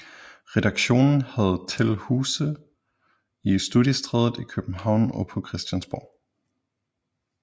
Redaktionen havde til huse i Studiestræde i København og på Christiansborg